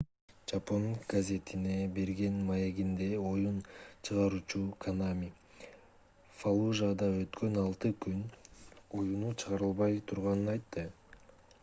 жапон гезитине берген маегинде оюн чыгаруучу конами фаллужада өткөн алты күн оюну чыгарылбай турганын айтты